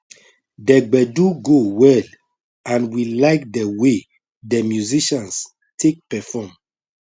de gbedu go well and we like de way de musicians take perform